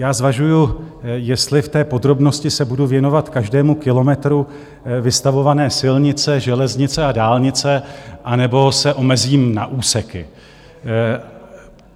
Já zvažuji, jestli v té podrobnosti se budu věnovat každému kilometru vystavované silnice, železnice a dálnice, anebo se omezím na úseky.